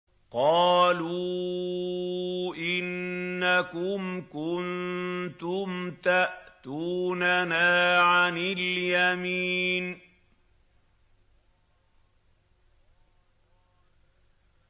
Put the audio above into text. قَالُوا إِنَّكُمْ كُنتُمْ تَأْتُونَنَا عَنِ الْيَمِينِ